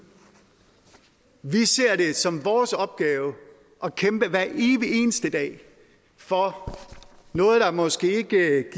vi ser det som vores opgave at kæmpe hver evig eneste dag for noget der måske ikke